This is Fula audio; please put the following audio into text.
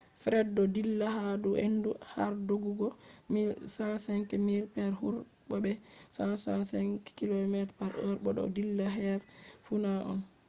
fred do dilla ha dou hendu har doggugo 105 miles per hour bo be 165 km/h bo do dilla her funa on